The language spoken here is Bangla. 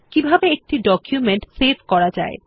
কিভাবে একটি ডকুমেন্ট সেভ করা যায়